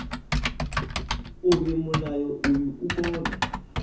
uri mulayo uyu u kone